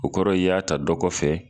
O kɔrɔ i y'a ta dɔ kɔfɛ